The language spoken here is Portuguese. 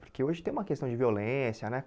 Porque hoje tem uma questão de violência, né?